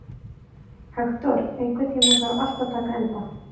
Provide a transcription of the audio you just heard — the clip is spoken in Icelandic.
Hektor, einhvern tímann þarf allt að taka enda.